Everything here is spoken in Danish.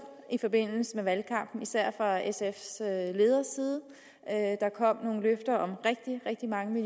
i forbindelse med valgkampen især fra sfs leders side der kom nogle løfter om rigtig rigtig mange